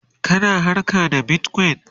kana harka da Bitcoin?